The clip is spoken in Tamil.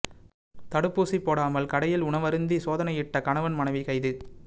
தடுப்பூசி போடாமல் கடையில் உணவருந்தி சோதனையிட்ட கணவன் மனைவி கைது